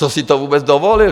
Co si to vůbec dovolil!